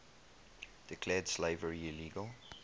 declared slavery illegal